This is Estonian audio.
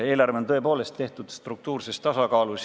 Eelarve on tõepoolest tehtud struktuurses tasakaalus.